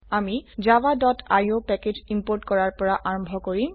আমি javaআইঅ package import কৰাৰ পৰা আৰম্ভ কৰিম